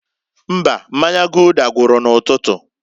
Mbaǃ Mmanya Gulder gwuru n'ụtụtụ.